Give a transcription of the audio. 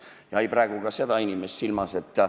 Ja ei pea praegu ka seda inimest silmas.